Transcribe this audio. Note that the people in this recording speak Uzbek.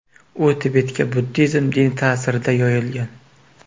U Tibetga buddizm dini ta’sirida yoyilgan.